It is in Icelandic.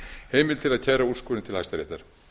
heimild til að kæra úrskurðinn til hæstaréttar